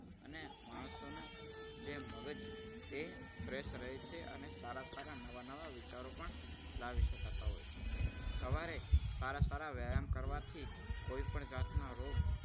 અને માણસોનું જે મગજ એ fresh રહે છે. અને સારા સારા નવા નવા વિચારો પણ લાવી શકાતા હોય છે. સવારે સારા સારા વ્યાયામ કરવાથી કોઈપણ જાતના રોગ